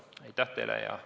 Aitäh teile!